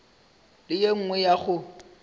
le ye nngwe ya go